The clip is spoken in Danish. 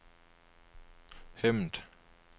Hemmet